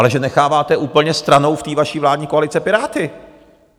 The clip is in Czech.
Ale že necháváte úplně stranou v té vaší vládní koalici Piráty!